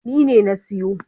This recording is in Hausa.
Ni ne na siyo.